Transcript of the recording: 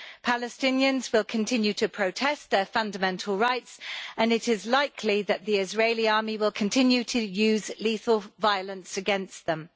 Palestinians will continue to protest their fundamental rights, and it is likely that the Israeli army will continue to use lethal violence against them.